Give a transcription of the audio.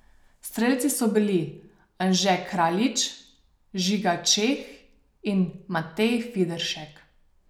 Strelci so bili Anže Kraljič, Žiga Čeh in Matej Fideršek.